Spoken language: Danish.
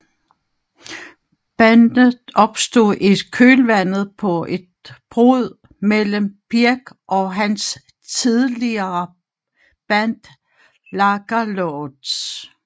Bandet opstod i kølvandet på et brud mellem Birk og hans tidligere band Lagerloudz